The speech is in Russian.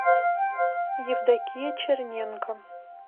евдокия черненко